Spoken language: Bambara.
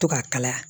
To ka kalaya